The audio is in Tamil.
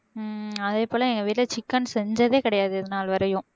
உம் அதே போல எங்க வீட்டுல chicken செஞ்சதே கிடையாது இதுநாள் வரையும்